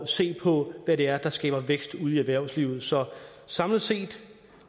se på hvad det er der skaber vækst ude i erhvervslivet så samlet set